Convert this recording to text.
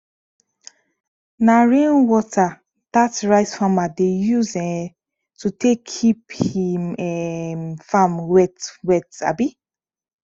na rain water dat rice farmer dey use um to take keep him um farm wet wet um